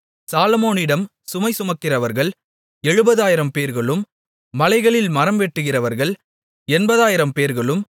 சாலொமோனிடம் சுமை சுமக்கிறவர்கள் 70000 பேர்களும் மலைகளில் மரம் வெட்டுகிறவர்கள் 80000 பேர்களும்